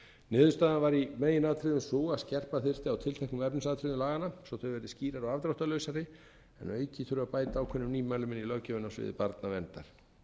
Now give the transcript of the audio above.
niðurstaðan var í megin atriðum sú að skerpa þyrfti á tilteknum efnisatriðum laganna svo þau verði skýrari og afdráttarlausari en að auki þurfi að bæta ákveðnum nýmælum inn í löggjöfina á sviði barnaverndar